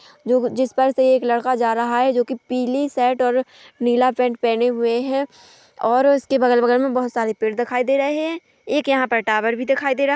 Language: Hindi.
जो जिस पर से एक लड़का जा रहा है जो की पीली शर्ट और नीला पेंट पहने हुए है और उसके बगल बगल में बहुत सारे पेड दिखाई दे रहे हैं एक यहाँ पर टावर भी दिखाई दे रहा हैं।